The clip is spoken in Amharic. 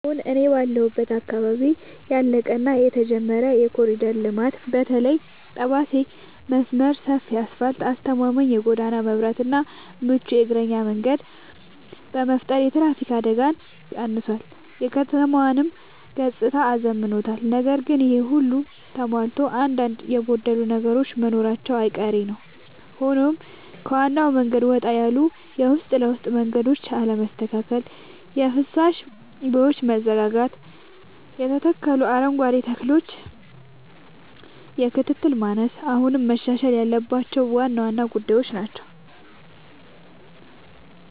አሁን እኔ ባለሁበት አካባቢ ያለቀ እና የተጀመረ የኮሪደር ልማት (በተለይ የጠባሴ መስመር) ሰፊ አስፋልት: አስተማማኝ የጎዳና መብራትና ምቹ የእግረኛ መንገድ በመፍጠር የትራፊክ አደጋን ቀንሷል: የከተማዋንም ገጽታ አዝምኗል። ነገር ግን ይሄ ሁሉ ተሟልቶ አንዳንድ የጎደሉ ነገሮች መኖራቸው አይቀሬ ነዉ ሆኖም ከዋናው መንገድ ወጣ ያሉ የውስጥ ለውስጥ መንገዶች አለመስተካከል: የፍሳሽ ቦዮች መዘጋጋትና የተተከሉ አረንጓዴ ተክሎች የክትትል ማነስ አሁንም መሻሻል ያለባቸው ዋና ዋና ጉዳዮች ናቸው።